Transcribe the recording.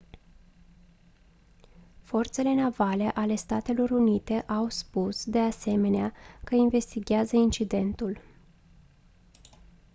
forțele navale ale statelor unite au spus de asemenea că investighează incidentul